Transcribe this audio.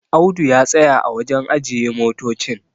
Audu ya tsaya a wajen ajiye motocin